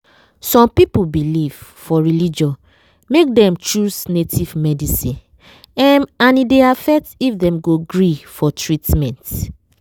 some people belief for religion make dem choose native medicine em and e dey affect if dem go gree for treatment.